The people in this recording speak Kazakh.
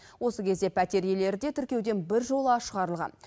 осы кезде пәтер иелері де тіркеуден біржола шығарылған